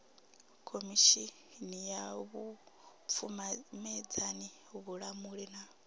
khomishini ya vhupfumedzani vhulamuli na